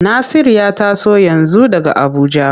Nasir ya taso yanzu daga Abuja.